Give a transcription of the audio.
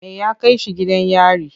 Me ya kai shi gidan yari?